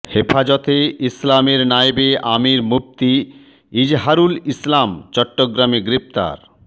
হেফাজতে ইসলামের নায়েবে আমির মুফতি ইজহারুল ইসলাম চট্টগ্রামে গ্রেপ্তার